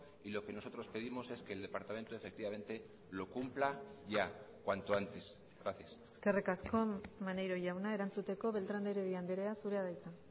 y lo que nosotros pedimos es que el departamento efectivamente lo cumpla ya cuanto antes gracias eskerrik asko maneiro jauna erantzuteko beltrán de heredia andrea zurea da hitza